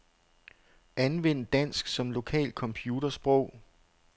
Anvend dansk som lokalt computersprog.